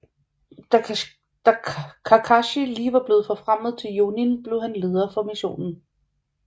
Da Kakashi lige var blevet forfremmet til Jonin blev han leder for missionen